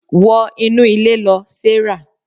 wo inú ilé lo, Sarah